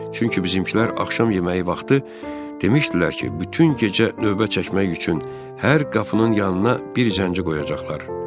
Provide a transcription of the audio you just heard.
Çünki bizimkilər axşam yeməyi vaxtı demişdilər ki, bütün gecə növbə çəkmək üçün hər qapının yanına bir zəncini qoyacaqlar.